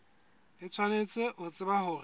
o tshwanetse ho tseba hore